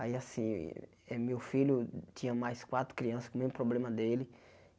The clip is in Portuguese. Aí assim, eh meu filho tinha mais quatro crianças com o mesmo problema dele.